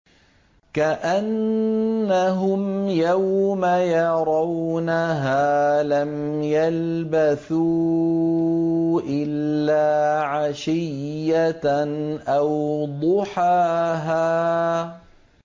كَأَنَّهُمْ يَوْمَ يَرَوْنَهَا لَمْ يَلْبَثُوا إِلَّا عَشِيَّةً أَوْ ضُحَاهَا